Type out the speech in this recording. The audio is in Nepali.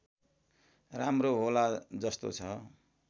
राम्रो होला जस्तो छ